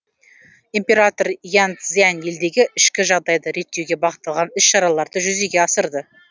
император ян цзянь елдегі ішкі жағдайды реттеуге бағытталған іс шараларды жүзеге асырды